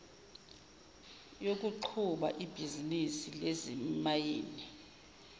yokuqhuba ibhizinisi lezimayini